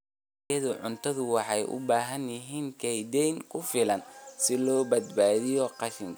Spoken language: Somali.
Dalagyada cuntadu waxay u baahan yihiin kaydin ku filan si loo baabi'iyo qashinka.